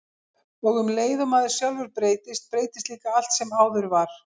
Og um leið og maður sjálfur breytist, breytist líka allt sem áður var.